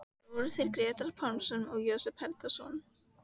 Það voru þeir Grettir Pálsson og Jósep Helgason.